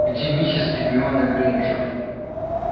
где мисс гермиона грэйнджер